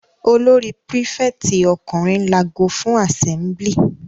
Olórí prífẹ̀tì ọkùnrin lago fún àsẹ́mblì.